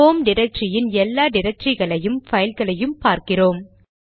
home டிரக்டரியின் எல்லா டிரக்டரிகளையும் பைல் களையும் பார்க்கிறோம்